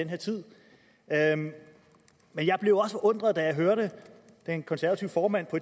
her tid men jeg blev også forundret da jeg hørte den konservative formand